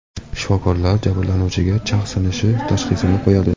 Shifokorlar jabrlanuvchiga chag‘ sinishi tashxisini qo‘yadi.